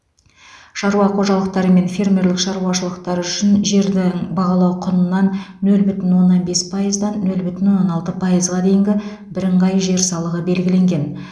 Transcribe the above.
шаруа қожалықтары мен фермерлік шаруашылықтар үшін жердің бағалау құнынан нөл бүтін оннан бес пайыздан нөл оннан алты пайызға дейінгі бірыңғай жер салығы белгіленген